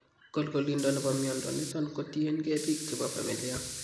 Kolkolindo nebo mnyondo niton kotien gee biik chebo familia